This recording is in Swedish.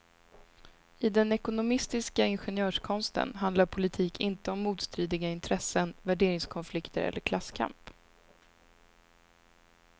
I den ekonomistiska ingenjörskonsten handlar politik inte om motstridiga intressen, värderingskonflikter eller klasskamp.